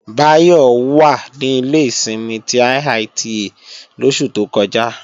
Báyọ̀ wà ní ilé ìsinmi ti IITA lóṣù tó kọjá